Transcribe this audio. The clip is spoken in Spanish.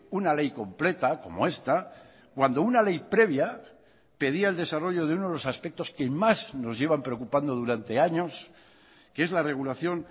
una ley completa como esta cuando una ley previa pedía el desarrollo de uno de los aspectos que más nos llevan preocupando durante años que es la regulación